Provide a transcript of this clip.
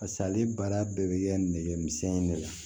Pas'ale baara bɛɛ bɛ kɛ nɛgɛmisɛnnin de la